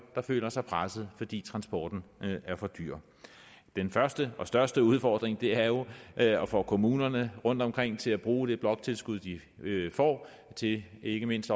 der føler sig presset fordi transporten er for dyr den første og største udfordring er jo at at få kommunerne rundtomkring til at bruge det bloktilskud de får til ikke mindst